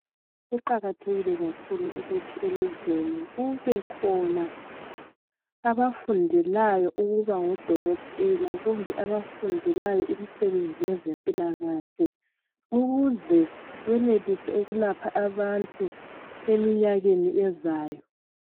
Kuqakathekile kakhulu ukuthi elizweni kubekhona abafundelayo ukuba ngodokotela kumbe abafundelayo imisebenzi yezempilakahle ukuze benelise ukulapha abantu eminyakeni ezayo.